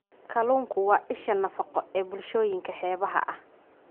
Kalluunku waa isha nafaqo ee bulshooyinka xeebaha ah.